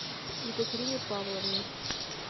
екатерине павловне